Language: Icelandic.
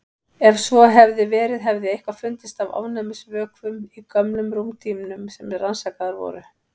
Ef svo hefði verið hefði eitthvað fundist af ofnæmisvökum í gömlum rúmdýnum sem rannsakaðar voru.